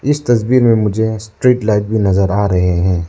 इस तस्वीर में मुझे स्ट्रीट लाइट भी नजर आ रहे हैं।